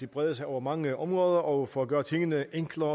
breder sig over mange områder og for at gøre tingene enklere